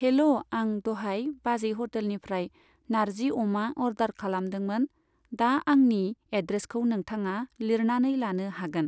हेल' आं दहाय बाजै हटेलनिफ्राय नार्जि अमा अर्डार खालामदोंमोन, दा आंनि एडरेसखौ नोंथाङा लिरनानै लानो हागोन।